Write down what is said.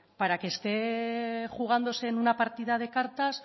para que esté jugándose en una partida de cartas